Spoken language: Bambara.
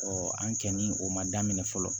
an kɛ ni o ma daminɛ fɔlɔ